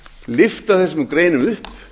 lyfta þessum greinum upp